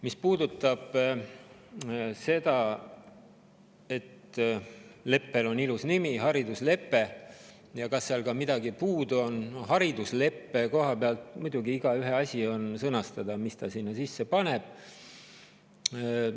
Mis puudutab seda – sellel leppel on ilus nimi "hariduslepe" –, et kas seal ka midagi puudu on, haridusleppe puhul on igaühe enda sõnastada, mis ta sinna sisse paneb.